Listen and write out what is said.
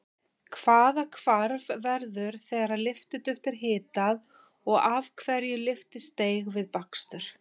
Hvaða hvarf verður þegar lyftiduft er hitað og af hverju lyftist deig við bakstur?